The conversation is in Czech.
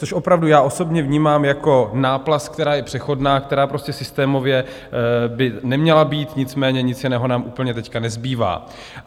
Což opravdu já osobně vnímám jako náplast, která je přechodná, která prostě systémově by neměla být, nicméně nic jiného nám úplně teď nezbývá.